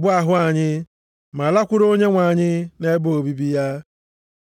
bụ ahụ anyị ma lakwuru Onyenwe anyị nʼebe obibi ya.